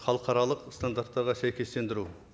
халықаралық стандарттарға сәйкестендіру